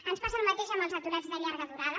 ens passa el mateix amb els aturats de llarga durada